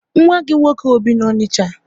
Nwa gị nwoke ọ bi na Onicha?